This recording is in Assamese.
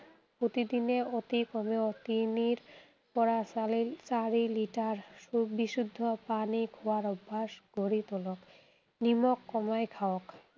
প্ৰতিদিনে অতি কমেও তিনিৰ পৰা চালি, চাৰি লিটাৰ বিশুদ্ধ পানী খোৱাৰ অভ্যাস গঢ়ি তোলক। নিমখ কমাই খাওক।